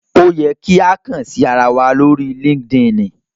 Ó yẹ kí a kàn sí ara wa lórí LinkedIn